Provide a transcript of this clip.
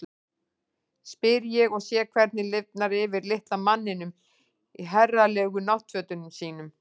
spyr ég og sé hvernig lifnar yfir litla manninum í herralegu náttfötunum sínum.